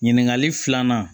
Ɲininkali filanan